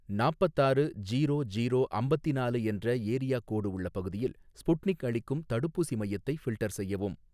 நாப்பத்தாறு zero zero அம்பத்தினாலு என்ற area code உள்ள பகுதியில் ஸ்புட்னிக் அளிக்கும் தடுப்பூசி மையத்தை ஃபில்டர் செய்யவும்